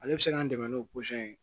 Ale bɛ se k'an dɛmɛ n'o ye